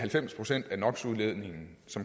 så